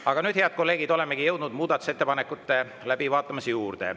Aga nüüd, head kolleegid, olemegi jõudnud muudatusettepanekute läbivaatamise juurde.